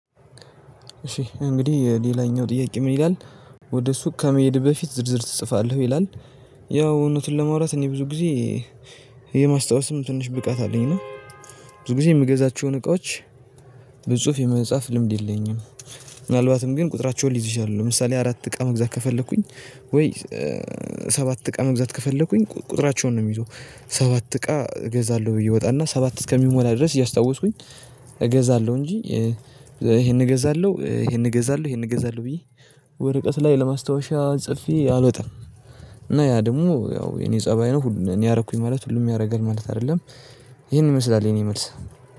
እሺ እንግዲህ ሌላኛው ጥያቄ ምን ይላል? ወደ ሱቅ ከመሄድህ በፊት ዝርዝር ትጽፋለህ ይላል? ያው እውነቱን ለማውራት እኔ ብዙ ጊዜ የማስታወስም ትንሽ ብቃት አለኝ እና ብዙ ጊዜ የምገዛቸውን እቃዎች በጽሁፍ የመጻፍ ልምድ የለኝም። ምናልባትም ግን ቁጥራቸውን ልይዝ እችላለሁ ለምሳሌ አራት እቃ መግዛት ከፈለኩኝ። ወይ ሰባት እቃ መግዛት ከፈለኩኝ ቁጥራቸውን ነው የምይዘው። ሰባት እቃ እገዛለሁ ብዬ እወጣ እና ሰባት እስከሚሞላ ድረስ እያስታወስኩኝ እገዛለሁ እንጂ ይሄን እገዛለሁ ይሄን እገዛለሁ ይሄን እገዛለሁ ብዬ ወረቀት ላይ ለማስታወሻ ጽፌ አልወጣም። እና ያ ደግሞ ያው የኔ ፀባይ ነው እኔ አረኩኝ ማለት ሁሉም ያደርጋል ማለት አይደለም። ይሄን ይመስላል የኔ መልስ።